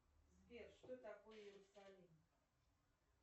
сбер что такое иерусалим